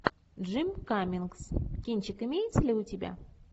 джим каммингс кинчик имеется ли у тебя